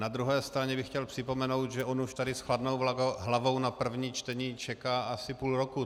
Na druhé straně bych chtěl připomenout, že on už tady s chladnou hlavou na první čtení čeká asi půl roku.